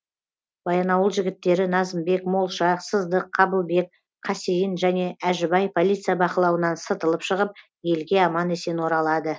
баянауыл жігіттері назымбек молша сыздық қабылбек қасейін және әжібай полиция бақылауынан сытылып шығып елге аман есен оралады